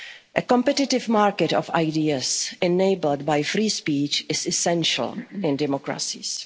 or even thought. A competitive market of ideas enabled by free speech is essential